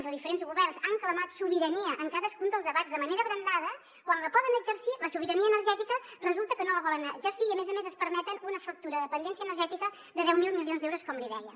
o diferents governs que han clamat sobirania en cadascun dels debats de manera abrandada quan la poden exercir la sobirania energètica resulta que no la volen exercir i a més a més es permeten una factura de dependència energètica de deu mil milions d’euros com li deia